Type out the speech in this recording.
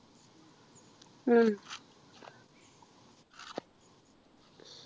ഉം